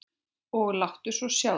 Og láttu svo sjá þig.